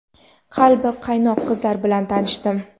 qalbi qaynoq qizlar bilan tanishdim.